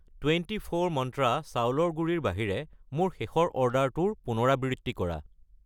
Twenty four মন্ত্ৰা চাউলৰ গুড়ি ৰ বাহিৰে মোৰ শেষৰ অৰ্ডাৰটোৰ পুনৰাবৃত্তি কৰা।